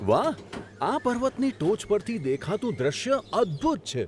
વાહ! આ પર્વતની ટોચ પરથી દેખાતું દૃશ્ય અદ્ભુત છે!